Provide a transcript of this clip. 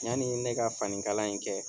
Yanni ne ka fanikala in kɛ